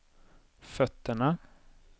fötterna